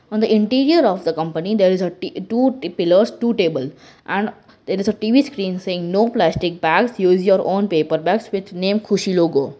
on the interior of the company there is a t two pillars two table and there is a T_V screen saying no plastic bags use your own paper bags with name khushi logo.